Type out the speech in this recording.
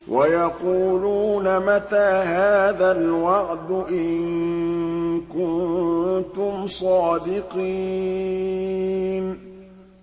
وَيَقُولُونَ مَتَىٰ هَٰذَا الْوَعْدُ إِن كُنتُمْ صَادِقِينَ